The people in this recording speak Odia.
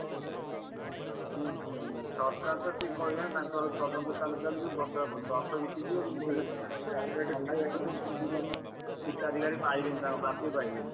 ସରକାର ତ ସେ କହିବେ ନା ତାଙ୍କର ତଦନ୍ତ ଚାଲୁ ଚାଲୁ ବର୍ଷକ ବର୍ଷ ବିତିଯିବ କିନ୍ତୁ ହିତାଧିକାରୀ ପାଇବେନି ତାଙ୍କ ପ୍ରାପ୍ୟ ପାଇବେନି।